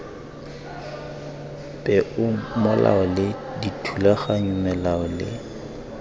peomolao le dithulaganyo melao le